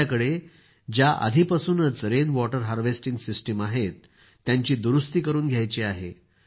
आापल्याकडं ज्या आधीपासूनच rain water harvesting system आहेत त्यांची दुरूस्ती करून घ्यायची आहे